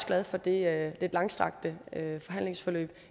glad for det lidt langstrakte forhandlingsforløb